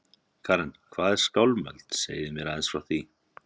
Karen: Hvað er Skálmöld, segið þið mér aðeins frá því?